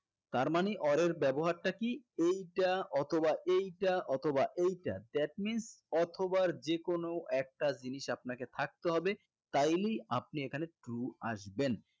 তার মানে or এর ব্যবহার টা কি এইটা অথবা এইটা অথবা এইটা that means অথবা যেকোনো একটা জিনিস আপনাকে থাকতে হবে তাইলেই আপনি এখানে true আসবেন